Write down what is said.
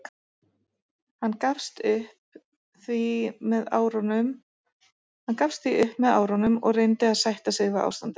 Hann gafst því upp með árunum og reyndi að sætta sig við ástandið.